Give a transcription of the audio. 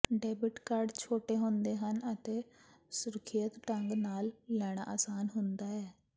debit card ਛੋਟੇ ਹੁੰਦੇ ਹਨ ਅਤੇ ਸੁਰੱਖਿਅਤ ਢੰਗ ਨਾਲ ਲੈਣਾ ਆਸਾਨ ਹੁੰਦਾ ਹੈ